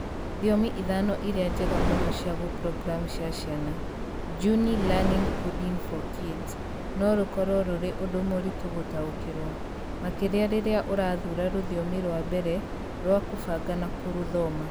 ."Thiomi 5 iria njega mũno cia gũprogramu cia ciana. Juni Learning Coding for kids no rũkorũo rũrĩ ũndũ mũritũ gũtaũkĩrũo- makĩria rĩrĩa ũrathuura rũthiomi rwa mbere rwa kũbanga na kũrũthoma".